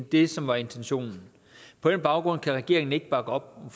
det som var intentionen på den baggrund kan regeringen ikke bakke op om